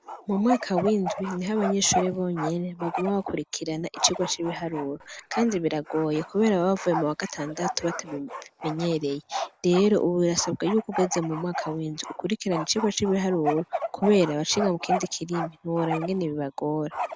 Mu mwaka windwi niho abanyishure bonyene baguma bakurikirana icirwa c'ibiharuro, kandi biragoye, kubera bababavuye mu wa gatandatu batabimenyereye rero, ubu birasabwa ry'ukugeze mu mwaka winzwi ukurikirana icirwa c'ibiharuro, kubera abaciga mu kindi kirimi ntiworaba ingene bibagora.